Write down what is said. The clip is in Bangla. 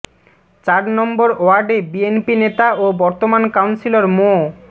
চার নম্বর ওয়ার্ডে বিএনপি নেতা ও বর্তমান কাউন্সিলর মো